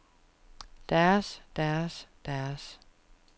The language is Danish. deres deres deres